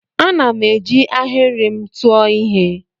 Ana m eji ahịrị m tụọ ihe.